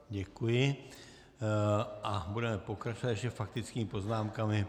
Děkuji a budeme pokračovat ještě faktickými poznámkami.